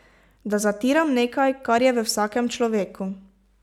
Da zatiram nekaj, kar je v vsakem človeku.